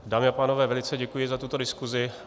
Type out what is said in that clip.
Dámy a pánové, velice děkuji za tuto diskuzi.